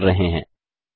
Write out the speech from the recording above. का उपयोग कर रहे हैं